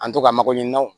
An to ka mago ɲinan o